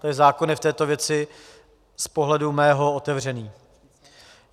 Tento zákon je v této věci z pohledu mého otevřený.